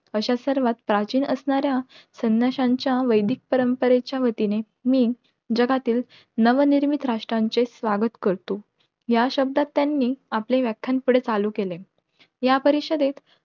अश्या सर्वात प्राचीन असणाऱ्या संन्याश्यांच्या वैदिक परंपरेच्या वतीने मी जगातील नवनिर्मित राष्ट्रांचे स्वागत करतो. या शब्दात त्यांनी आपले व्याख्यान पुढे चालू केले. या परिषदेत